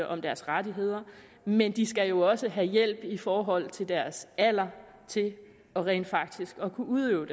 om deres rettigheder men de skal jo også have hjælp i forhold til deres alder til rent faktisk at kunne udøve